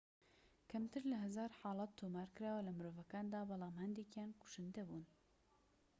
کەمتر لە هەزار حاڵەت تۆمارکراوە لەمرۆڤەکاندا بەڵام هەندێكیان کوشندە بوون